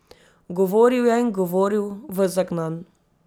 Govoril je in govoril, ves zagnan.